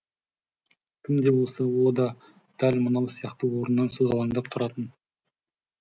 кім де болса о да дәл мынау сияқты орнынан созалаңдап тұратын